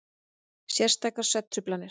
Sértækar svefntruflanir.